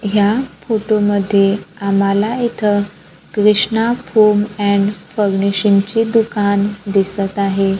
या फोटो मध्ये आम्हाला इथं कृष्णा फोम अँड फर्निशिंग ची दुकानं दिसतं आहे.